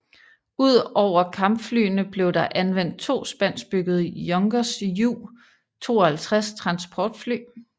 Ud over kampflyene blev der anvendt to spanskbyggede Junkers Ju 52 transportfly